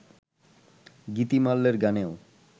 গীতিমাল্যের গানেও